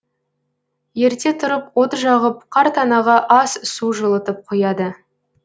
ерте тұрып от жағып қарт анаға ас су жылытып қояды